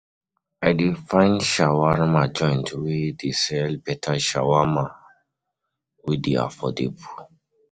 I dey find shawama joint wey dey sell beta shawama wey dey affordable.